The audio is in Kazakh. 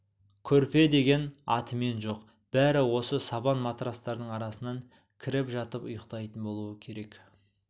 көрпе деген атымен жоқ бәрі осы сабан матрацтардың арасына кіріп жатып ұйықтайтын болуы керек